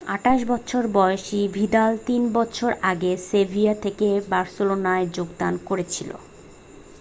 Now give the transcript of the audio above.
28 বছর বয়সী ভিদাল 3 বছর আগে সেভিয়া থেকে বার্সেলোনায় যোগদান করেছিল